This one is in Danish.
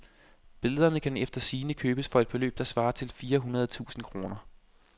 Billederne kan efter sigende købes for et beløb, der svarer til fire hundrede tusind kroner.